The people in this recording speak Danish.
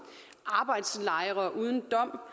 arbejdslejre uden dom